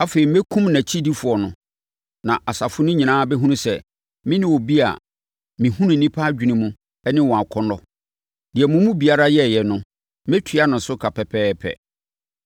Afei, mɛkum nʼakyidifoɔ no, na asafo no nyinaa bɛhunu sɛ mene obi a mehunu nnipa adwene mu ne wɔn akɔnnɔ. Deɛ mo mu biara yɛeɛ no, mɛtua no so ka pɛpɛɛpɛ.